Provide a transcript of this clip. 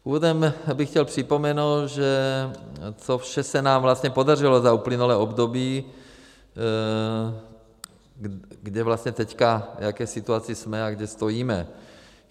Úvodem bych chtěl připomenout, že co vše se nám vlastně podařilo za uplynulé období, kde vlastně teď, v jaké situaci jsme a kde stojíme.